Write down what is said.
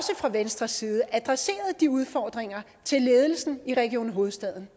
fra venstres side adresseret de udfordringer til ledelsen i region hovedstaden